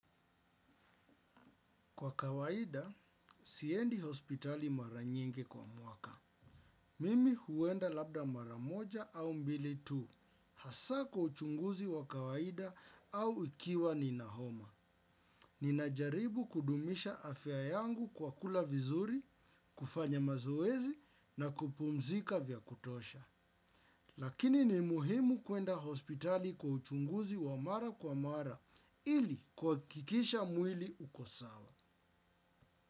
Kwa kawaida, siendi hospitali mara nyingi kwa mwaka. Mimi huenda labda mara moja au mbili tu. Hasa kwa uchunguzi wa kawaida au ikiwa nina homa. Ninajaribu kudumisha afya yangu kwa kula vizuri, kufanya mazoezi na kupumzika vya kutosha. Lakini ni muhimu kuenda hospitali kwa uchunguzi wa mara kwa mara ili kuhakikisha mwili uko sawa.